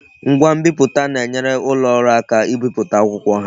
Ngwa nbiputa na-enyere ulo oru aka ibipụta akwụkwọ ha